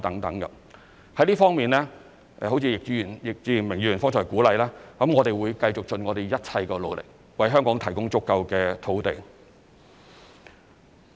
在這方面，就如易志明議員剛才鼓勵，我們會繼續盡一切努力，為香港提供足夠土地。